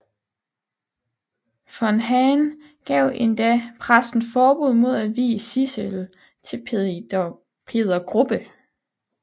Von Hahn gav endda præsten forbud mod at vie Sidsel til Peder Grubbe